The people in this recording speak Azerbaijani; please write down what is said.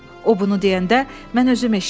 O bunu deyəndə mən özüm eşitdim.